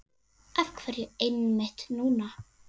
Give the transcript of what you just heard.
Af hverju einmitt núna?